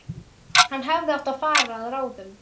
Hann hefði átt að fara að ráðum